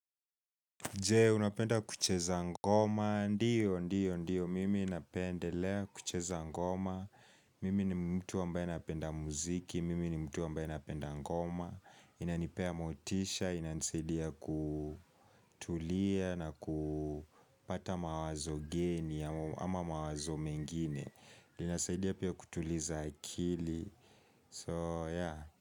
Je, unapenda kucheza ngoma? Ndio, ndio, ndio, mimi napendelea kucheza ngoma, mimi ni mtu ambaye anapenda muziki, mimi ni mtu ambaye anapenda ngoma, inanipea motisha, inanisaidia kutulia na ku kupata mawazo geni ama mawazo mengine, inasaidia pia kutuliza akili, so yeah.